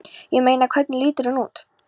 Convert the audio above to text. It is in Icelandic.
Ég meina. hvernig lítur hún út?